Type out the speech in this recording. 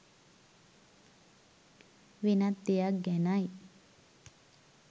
වෙනත් දෙයක් ගැනයි.